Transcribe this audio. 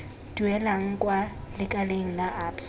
duelang kwa lekaleng la absa